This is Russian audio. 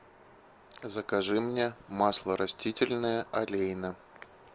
закажи мне масло растительное олейна